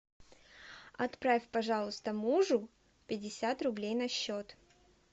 отправь пожалуйста мужу пятьдесят рублей на счет